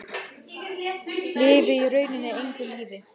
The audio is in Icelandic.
Lifi í rauninni engu lífi.